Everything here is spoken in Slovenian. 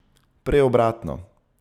Prej obratno.